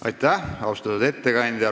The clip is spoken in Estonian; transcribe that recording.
Aitäh, austatud ettekandja!